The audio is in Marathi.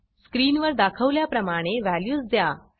स्क्रीनवर दाखवल्याप्रमाणे व्हॅल्यूज द्या